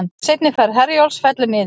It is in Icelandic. Seinni ferð Herjólfs fellur niður